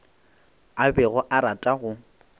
a bego a rata go